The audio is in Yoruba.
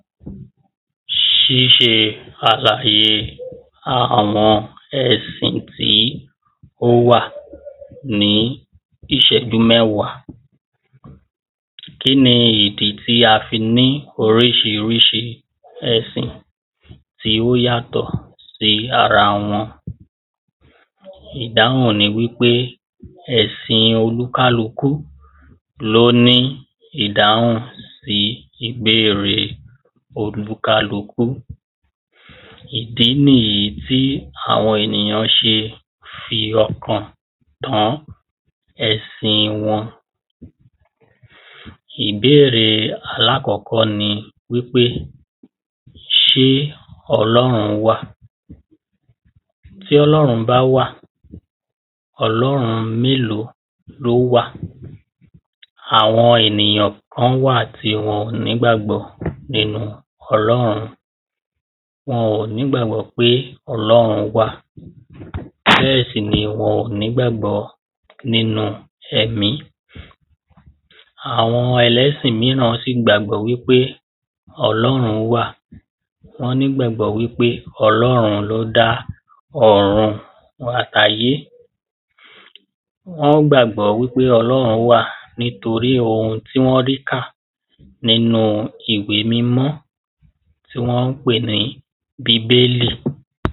ṣíṣe àlàye àwọn ẹ̀sìn tí ó wà ní ìṣẹ́jú mẹ́wàá. kí ni ìdí tí a fi ní oríṣiríṣi ẹ̀sìn tí ó yàtọ̀ sí ara wọn? ìdáhùn ni wí pé ẹ̀sìn olúkálukú ló ní ìdáhùn sí ìbéèrè olúkálukú. ìdí nìyí tí àwọn ènìyàn ṣe fi ọkàn tán ẹ̀sìn wọn. ìbéèrè alákọ̀ọ́kọ́ ni wí pé ṣé ọlọ́run wà? tí ọlọ́run bá wà, ọlọ́run mélòó ló wà? àwọn ènìyàn kán wà tí wọn ò nígbàgbọ́ nínú ọlọ́run. wọn ò nígbàgbọ́ pé ọlọ́run wà bẹ́ẹ̀ sì ni wọn ò nígbàgbọ́ nínu ẹ̀mí. àwọn ẹlẹ́sìn míràn sì gbàgbọ́ wí pé ọlọ́run wà. wọ́n nígbàgbọ́ wí pé ọlọ́run ló dá ọ̀run àtayé. wọ́n gbàgbọ́ wí pé ọlọ́run wà nítorí ohun tí wọ́n rí kà nínu ìwé mímọ́ tí wọ́n pè ní bíbélì.